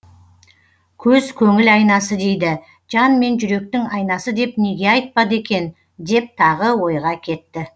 көз көңіл айнасы дейді жан мен жүректің айнасы деп неге айтпады екен деп тағы ойға кетті